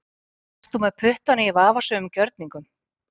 Ert þú með puttana í vafasömum gjörningum?